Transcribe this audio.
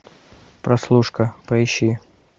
прослушка поищи